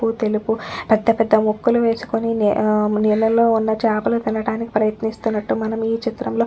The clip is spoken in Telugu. నలుపు తెలుపు పెద్దపెద్ద ముక్కులు వేసుకొని ఆ నీళ్ళల్లో ఉన్న చేపలు తినడానికి ప్రయత్నిస్తున్నట్లు మనం ఈ చిత్రంలో.